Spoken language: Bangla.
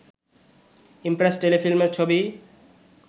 ইমপ্রেস টেলিফিল্মের ছবি